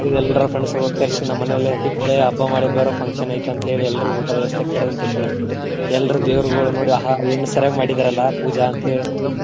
ಎಲ್ರ friends ಕರ್ಸಿ ನಮ್ಮ ಮನೆಯಲ್ಲೆ ದೀಪಾವಳಿ ಹಬ್ಬಾ ಮಾಡೋದ ಬಾರೋ function ಐತಿ ಅಂತ ಹೇಳಿ ಎಲ್ರಗು ಊಟದ ವ್ಯವಸ್ಥೆಕ ಕರದ ತಕ್ಷಣ, ಎಲ್ರೂ ದೇವ್ರಗೊಳ ನೋಡಿ ಆಹಾ ಏನು ಸರ್ಯಾಗಿ ಮಾಡಿದೇರಲ್ಲಾ ಪೂಜಾ ಅಂತ ಹೇ~.